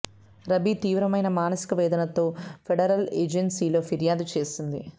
రబీ తీవ్రమైన మానసిక వేదనతో ఫెడరల్ ఏజెన్సీలో ఫిర్యాదు చేసింది